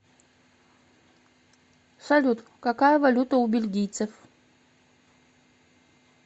салют какая валюта у бельгийцев